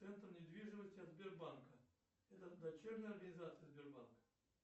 центр недвижимости от сбербанка это дочерняя организация сбербанка